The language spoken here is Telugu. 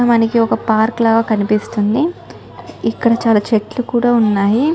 మనకి ఒక పార్క్ లా కనిపిస్తుంది. ఇక్కడ చాల చెట్లు కూడా ఉన్నాయి.